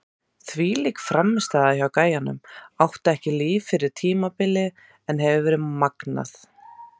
Þvílík frammistaða hjá gæjanum, átti ekki líf fyrir tímabilið en hefur verið magnaður!